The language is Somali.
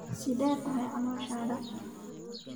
Sidee tahay calooshaada?